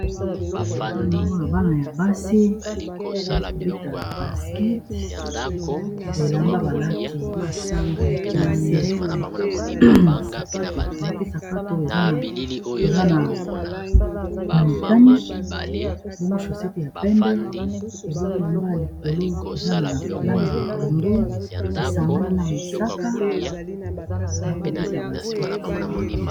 Awa nazomona bana ya basi baza kobeta baskete, bilamba balati na se, balati sapato eza ya motane, bongo shosete ya pembe, ebungo elamba ya likolo eza na langi ya pondu, esangani na mosaka, ba kobeta baskete.